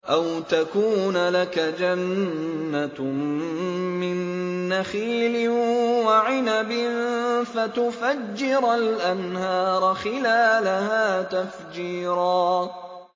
أَوْ تَكُونَ لَكَ جَنَّةٌ مِّن نَّخِيلٍ وَعِنَبٍ فَتُفَجِّرَ الْأَنْهَارَ خِلَالَهَا تَفْجِيرًا